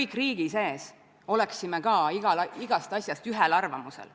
Mis puudutab Isamaa esindust ja esindatust koosolekul ja istungil, siis seda peab nende käest küsima.